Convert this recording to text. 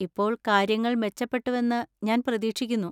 ഇപ്പോൾ കാര്യങ്ങൾ മെച്ചപ്പെട്ടുവെന്ന് ഞാൻ പ്രതീക്ഷിക്കുന്നു?